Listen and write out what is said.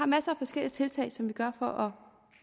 masser af forskellige tiltag som vi gør for at